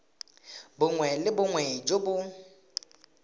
bongwe le bongwe jo bo